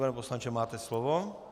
Pane poslanče, máte slovo.